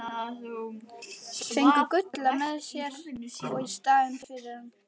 Fengu Gulla með sér í staðinn fyrir hann!